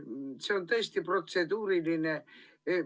See on tõesti protseduuriline.